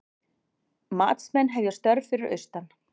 Matsmenn að hefja störf fyrir austan